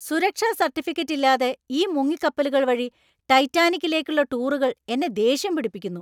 സുരക്ഷാ സർട്ടിഫിക്കറ്റ് ഇല്ലാതെ ഈ മുങ്ങിക്കപ്പലുകൾ വഴി ടൈറ്റാനിക്കിലേക്കുള്ള ടൂറുകൾ എന്നെ ദേഷ്യം പിടിപ്പിക്കുന്നു.